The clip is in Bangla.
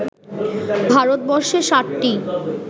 ভারতবর্ষে সাতটি